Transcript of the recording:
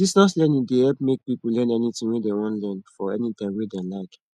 distance learning dey help make people learn anything wey dem wan learn for any time wey dem like